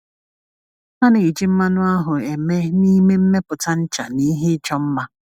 A na-eji mmanụ ahụ eme n’ime mmepụta ncha na ihe ịchọ mma.